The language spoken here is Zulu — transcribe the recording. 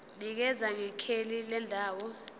nikeza ngekheli lendawo